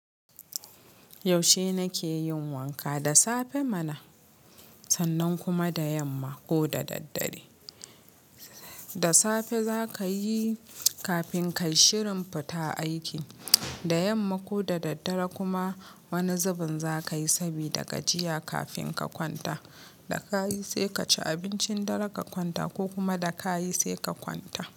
Yaushe nakeyin wanka, da safe mana sannan kuma da yamma ko da daddare. Da safe zakayi kafin ka yi shirin fita aiki, da yamma ko da daddare kuma wani zubin zakayi sabida gajiya kafin ka kwanta. Da ka yi sai ka ci abincin dare ka kwanta ko kuma da ka yi sai ka kwanta.